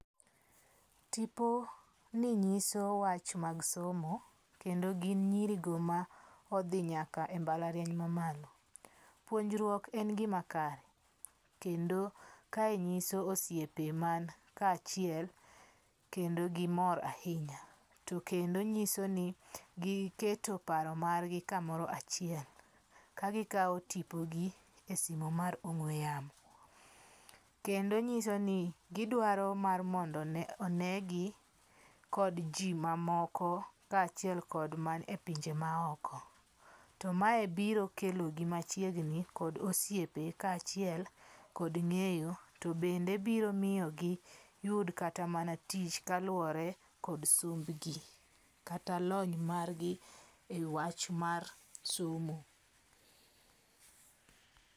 Tiponi nyiso wach mag somo kendo gin nyirigo ma odhi nyaka e mbalariany mamalo. Puonjruok en gima kare. Kendo kae nyiso osiepe man ka achiel kendo gimor ahinya. Tokendo nyiso ni giketo paro margi kamaro achiel ka gikawo tipogi e simo mar ong'we yamo. Kendo nyiso ni gidwaro mar mondo one gi kod ji mamoko ka achiel kod man e pinje ma oko. To mae biro kelo gi mchiegdni kod osiepe kachiel kod ng'eyo. To bende biro miyogi yud kata mana tich kaluwore kod sombgi kata lony margi e wach mar somo.